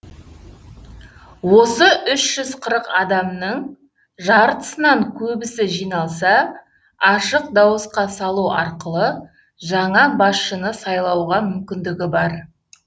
осы үш жүз қырық адамның жартысынан көбісі жиналса ашық дауысқа салу арқылы жаңа басшыны сайлауға мүмкіндігі бар